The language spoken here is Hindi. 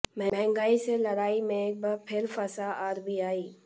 महंगार्ई से लड़ाई में एक बार फिर फंसा आरबीआई